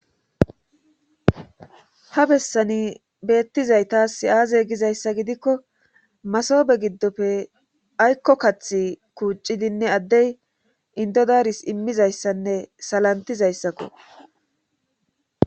ha bessani beettizay taas aaze gizayssa gidikko masobe giddofe aykko kath kuuccidinne addey indodaris immizayssanne salantizayssakko